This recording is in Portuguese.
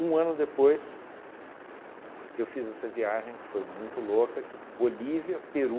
ano depois, eu fiz essa viagem que foi muito louca, que Bolívia, Peru,